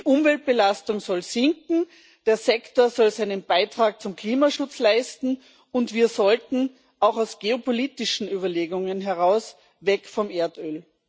Die Umweltbelastung soll sinken, der Sektor soll seinen Beitrag zum Klimaschutz leisten, und wir sollten auch aus geopolitischen Überlegungen heraus weg vom Erdöl.